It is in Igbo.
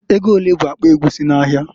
Ego olee bụ akpa egwusi n'ahịa?